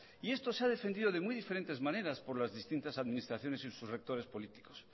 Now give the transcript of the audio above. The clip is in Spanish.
y esto se ha defendido de muy diferentes maneras por las distintas administraciones y sus rectores políticos